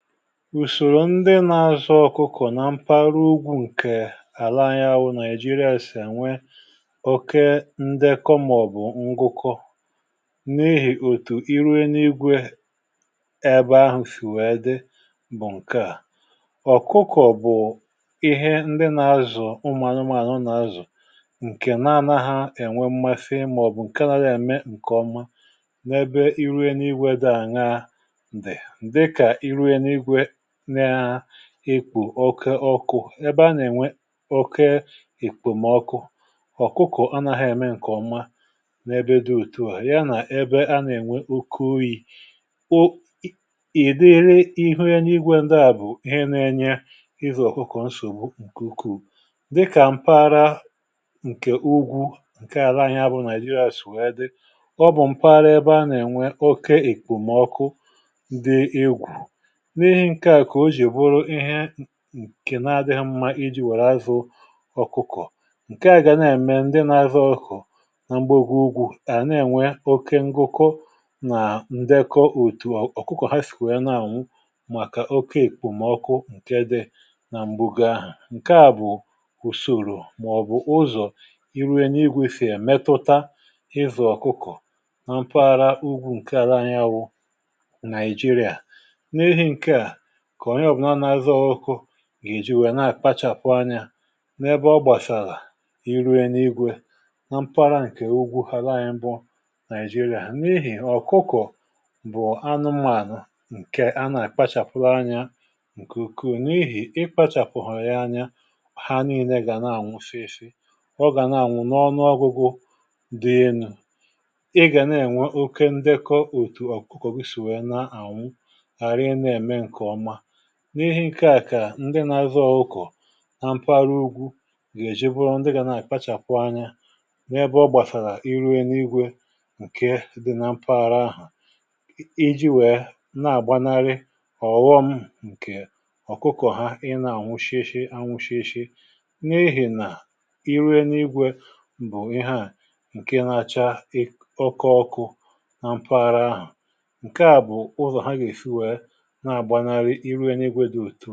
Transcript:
Ùsòrò ndị nȧ-ȧzụ̇ ọkụkọ̀ na mpárá ugwu̇ ǹkè àla anyi wụ̇ naịjịrịà si enwe oke ndekọ màọ̀bụ̀ ngụkọ n’ihì òtù iru eluigwe ebe ahụ̀si wèe dị bụ̀ ǹke à, ọkụkọ̀ bụ̀ ihe ndị nà-azụ̀, ụmụ̀anụ̀mànụ̀ nà-azụ̀ ǹkè na-ana ha ènwe mmasi màọ̀bụ̀ ǹke na-adị ème ǹkè ọma n’ebe iru eluigwe dị aya di, dịka iru eluigwe n’ekpo oké ọkụ ebe a nà-ènwe oke ìkpòmọkụ, ọkụkọ̀ anaghị eme ǹkèọma n’ebe dị otu ȧ ya nà ẹbẹ a nà-ènwe oke oyi̇ o ìdiri ihu eluigwe ndịa bụ̀ ihe nȧ-ėnyė ịzụ ọ̀kụkụ̀ nsògbu ǹkù ukwuu dịkà m̀para ǹkè ugwu ǹkè ala anya bụ naịjịrịa si wee dị ọ bụ̀ m̀paghara ebe a nà-ènwe oke ìkpòmkụ dị egwu n'ihi ǹkè ka ọ ji bụrụ ihe nkè na-adịghị̇ mmȧ iji wèrè zụ̀ ọkụkọ̀ ǹke à gà na-ème ndị na-azụ ọkụkọ̀ na m̀gbàgọ ùgwù à na-ènwe oké ngụkọ nà ndekọ òtù ọkụkọ̀ ha sì nwe na-àṅwu màkà oké èkpòmọkụ ǹke dị nà m̀bụ gaa àhụ ǹke à bụ̀ ùsòrò màọ̀bụ̀ ụzọ̀ iru enuigwe si èmetuta ịzu ọkụkọ̀ na mpaghara ugwu ǹke ala anyị wụ Naịjịrịa n'ihi nke ka onye obula na-azụ ọkụkọ gà-èji nwèrè na àkpachàpụ anya n’ebe ọ gbàsàlà iru eluigwe na mpara ǹkè ugwu àla anyi bu naịjịrịà, n’ihì ọ̀kụkọ̀ bụ̀ anụmànụ̀ ǹkè a nà-àkpachàpụ anya ǹkè ùkwuu n’ihì i kpachàpụghị ya anya ha niile gà na-àṅwụ sị si, ọ gà na-àṅwụ n’ọnụ ọgụgụ dị enu ị gà na-ènwe oke ndekọ òtù ọ̀kụkọ̀ gị si wèe na-àṅwụ hara i na-eme nke ọma n’ihì ǹkè a kà ǹdị nȧ-azụ ọ̀kụkọ̀ nà mpaghara ugwu gà-èjiburu ndị gà nà-àkpachàpụ anya n’ebe ọ gbàsàrà iru elugwė ǹkè dị na mpaghara ahụ̀ iji̇ nwèe nà-àgbanarị ọ̀ghọm ǹkè ọ̀kụkọ̀ ha ị nà-ànwụshịeshị anwụ̇shịeshị n’ihì nà iru elugwė bụ̀ ihe à ǹkè nȧ-acha ọke ọkụ na mpaghara ahụ̀ ǹkè a bụ̀ ụzọ̀ ha gà-èsi wèe na agbanani iru eluigwe di òtu a.